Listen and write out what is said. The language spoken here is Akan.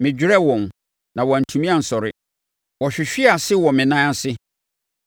Mɛdwerɛ wɔn, na wɔantumi ansɔre, wɔhwehwee ase wɔ me nan ase.